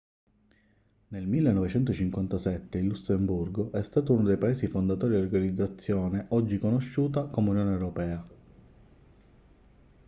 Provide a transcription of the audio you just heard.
nel 1957 il lussemburgo è stato uno dei paesi fondatori dell'organizzazione oggi conosciuta come unione europea